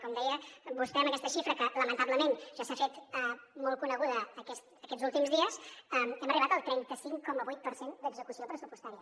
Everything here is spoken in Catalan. com deia vostè amb aquesta xifra que lamentablement ja s’ha fet molt coneguda aquests últims dies hem arribat al trenta cinc coma vuit per cent d’execució pressupostària